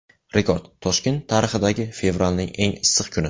Rekord: Toshkent tarixidagi fevralning eng issiq kuni .